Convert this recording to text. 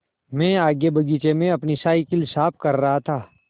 मैं आगे बगीचे में अपनी साईकिल साफ़ कर रहा था